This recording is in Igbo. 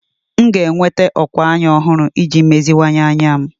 M ga-enweta ókwà anya ọhụrụ iji meziwanye anya m.